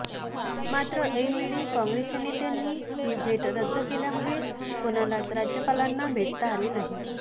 मात्र ऐनवेळी कॉंग्रेस च्या नेत्यांनि ही भेट रद्द केल्यामुळे कोणालाच राज्यपालांना भेटता आले नाही